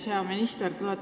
Hea minister!